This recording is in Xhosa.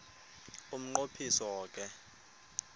umnqo phiso ke